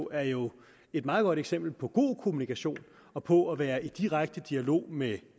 er jo et meget godt eksempel på god kommunikation og på at være i direkte dialog med